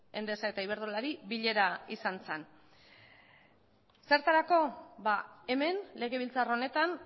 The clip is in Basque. endesa eta iberdrolari bilera izan zen zertarako ba hemen legebiltzar honetan